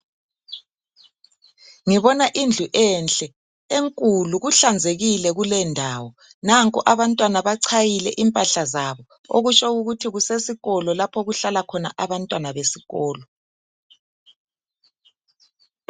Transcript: Ngibona idlu enhle enkulu kuhlanzekile kule ndawo. Nanko abantwana bachayile impahla zabo. Okutsho ukuthi kusesikolo lapho okuhlala khona abantwana besikolo.